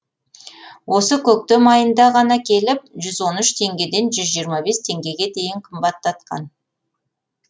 осы көктем айында ғана келіп жүз он үш теңгеден жүз жиырма бес теңгеге дейін қымбаттатқан